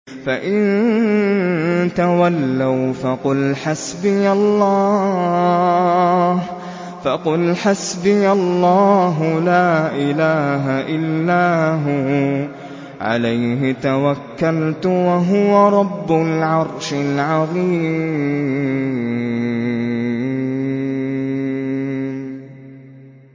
فَإِن تَوَلَّوْا فَقُلْ حَسْبِيَ اللَّهُ لَا إِلَٰهَ إِلَّا هُوَ ۖ عَلَيْهِ تَوَكَّلْتُ ۖ وَهُوَ رَبُّ الْعَرْشِ الْعَظِيمِ